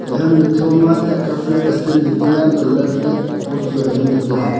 iya hamnu thoma thaka flag stand chu taiya antole flake post chu ajongle taiya.